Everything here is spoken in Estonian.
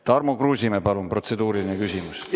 Tarmo Kruusimäe, palun, protseduuriline küsimus!